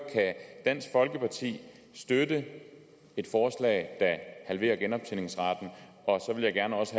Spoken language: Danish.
kan dansk folkeparti støtte et forslag halverer genoptjeningsretten og så vil jeg også